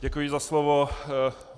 Děkuji za slovo.